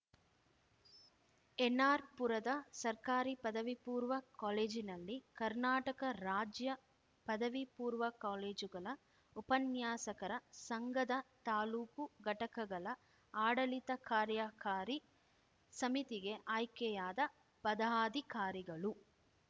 ಎನ್‌ಆರ್‌ಪುರದ ಸರ್ಕಾರಿ ಪದವಿ ಪೂರ್ವ ಕಾಲೇಜಿನಲ್ಲಿ ಕರ್ನಾಟಕ ರಾಜ್ಯ ಪದವಿ ಪೂರ್ವ ಕಾಲೇಜುಗಳ ಉಪನ್ಯಾಸಕರ ಸಂಘದ ತಾಲ್ಲೂಕು ಘಟಕಗಳ ಆಡಳಿತ ಕಾರ್ಯಕಾರಿ ಸಮಿತಿಗೆ ಆಯ್ಕೆಯಾದ ಪದಾಧಿಕಾರಿಗಳು